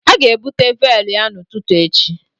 A ga-ebute véélu ya n'ụtụtụ echi